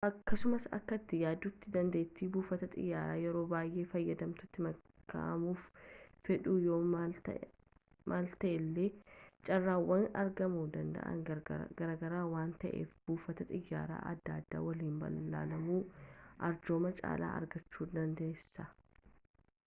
akkasuma akka ati yaaduutti dandeetti buufata xiiyaraa yeroo baayee fayyadamtuutti makaamuf fedhuu yoo maltellee carraawwan argaamu danda'aan garaagara waan ta'aniif buufata xiyaara adda addaa waliin balali'uun arjooma caalaa argachuudandeessa